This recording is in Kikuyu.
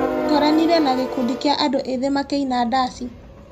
Ngoranire na gĩkundi kia andũ ethĩ makĩina ndaci.